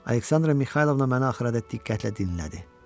Aleksandra Mixaylovna məni axıra qədər diqqətlə dinlədi.